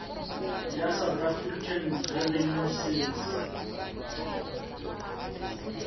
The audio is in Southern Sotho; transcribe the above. ya south african revenue service